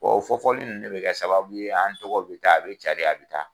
o fɔ fɔli nunnu de bi kɛ sababu ye, an tɔgɔ bi taa a bi cari a bi taa